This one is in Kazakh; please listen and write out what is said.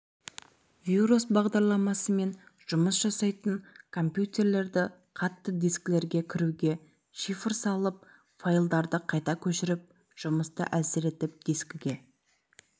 вирус бағдарламасымен жұмыс жасайтын компьютерлерді қатты дискілерге кіруге шифр салып файлдарды қайта көшіріп жұмысты әлсіретіп дискіге